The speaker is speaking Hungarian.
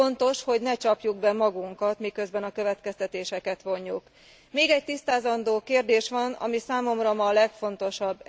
Fontos, hogy ne csapjuk be magunkat, miközben a következtetéseket vonjuk. Még egy tisztázandó kérdés van, ami számomra ma a legfontosabb.